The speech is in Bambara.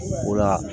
O la